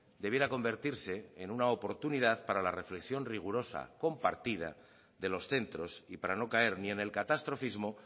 debiera convertirse en una oportunidad para la reflexión rigurosa y compartida de los centros y para no caer ni en el catastrofismo